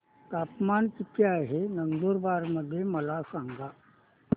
तापमान किता आहे नंदुरबार मध्ये मला सांगा